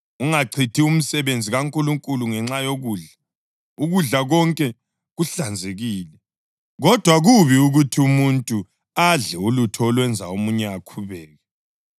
Ungachithi umsebenzi kaNkulunkulu ngenxa yokudla. Ukudla konke kuhlanzekile, kodwa kubi ukuthi umuntu adle ulutho olwenza omunye akhubeke.